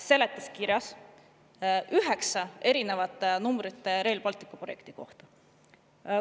–, seletuskirjas oli üheksa erinevat numbrit Rail Balticu projekti kohta.